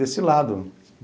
Desse lado.